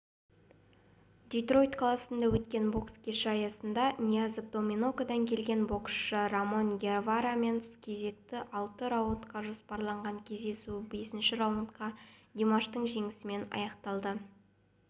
детройт қаласында өткен бокс кеші аясында ниязов доминикадан келген боксшы рамон геварамен кездесті алты раундқа жоспарланған кездесу бесінші раундта димаштың жеңісімен